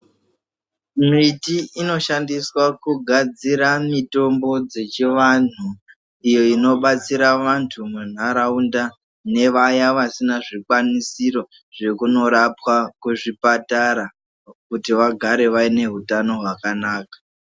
Miti inoshandiswa kugadzira mitombo dzechiantu iyo inobatsira vantu munharaunda nevaya vasina zvikwanisiro zvekunorapwa kuzvipatara kuti vagare vane utano hwakanaka .